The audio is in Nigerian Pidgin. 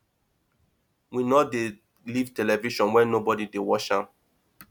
we no dey leave television on wen nobody dey watch am